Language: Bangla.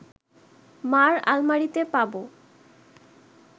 মা’র আলমারিতে পাব